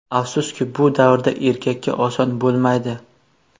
Afsuski, bu davrda erkakka oson bo‘lmaydi.